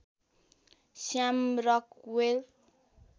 Shyam Rockvale